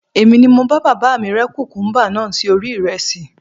Èmi ni mo bá bàbá mi rẹ́ kùkúmúbá náà sí orí ìrẹsì